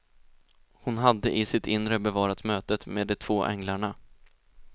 Hon hade i sitt inre bevarat mötet med de två änglarna.